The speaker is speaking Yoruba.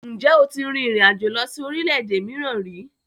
Ǹjẹ́ o tílẹ̀ tí rìn ìrin àjò lọ sí orílẹ̀-èdè mìíràn ríi?